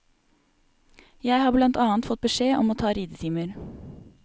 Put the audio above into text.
Jeg har blant annet fått beskjed om å ta ridetimer.